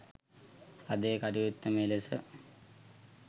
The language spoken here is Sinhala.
අද ඒ කටයුත්ත මේ ලෙස